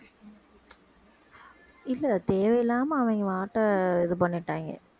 இல்லை தேவையில்லாம அவங்க இது பண்ணிட்டாங்க